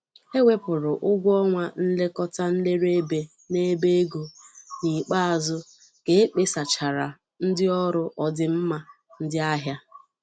e wepụrụ ụgwọ ọnwa nlekọta nlere ébé n'ebe ego n'ikpeazụ ka ekpesachaara ndị ọrụ ọdịmma ndị ahịa.